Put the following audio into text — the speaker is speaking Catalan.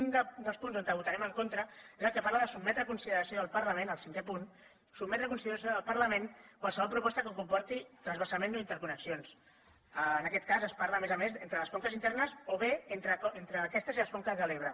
un dels punts on votarem en contra és el que parla de sotmetre a consideració del parlament el cinquè punt qualsevol proposta que comporti transvasament o interconnexions en aquest cas es parla a més a més entre les conques internes o bé entre aquestes i les conques de l’ebre